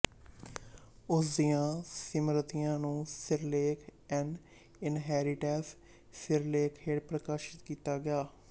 ਉਸ ਦੀਆਂ ਸਿਮਰਤੀਆਂ ਨੂੰ ਸਿਰਲੇਖ ਐਨ ਇਨਹੈਰੀਟੈਂਸ ਸਿਰਲੇਖ ਹੇਠ ਪ੍ਰਕਾਸ਼ਿਤ ਕੀਤਾ ਗਿਆ